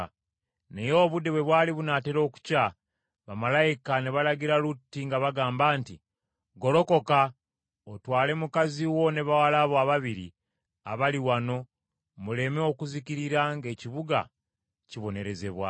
Naye obudde bwe bwali bunaatera okukya, bamalayika ne balagira Lutti nga bagamba nti, “Golokoka, otwale mukazi wo ne bawala bo ababiri abali wano muleme okuzikirira ng’ekibuga kibonerezebwa.”